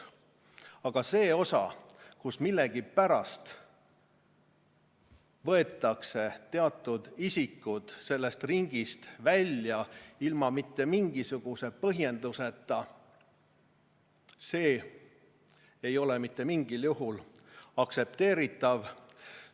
Aga see osa, kus millegipärast võetakse teatud isikud sellest ringist välja ilma igasuguse põhjenduseta, ei ole mitte mingil juhul aktsepteeritav.